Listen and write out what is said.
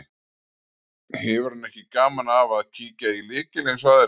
Hefur hann ekki gaman af að kíkja í lykil eins og aðrir.